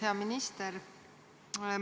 Hea minister!